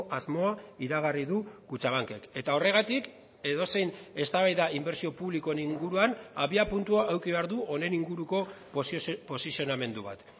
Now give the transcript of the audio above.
asmoa iragarri du kutxabankek eta horregatik edozein eztabaida inbertsio publikoen inguruan abiapuntua eduki behar du honen inguruko posizionamendu bat